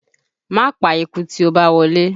Máa pa eku tí ó bá wọlé!